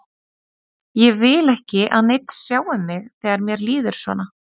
Ég vil ekki að neinn sjái mig þegar mér líður svona.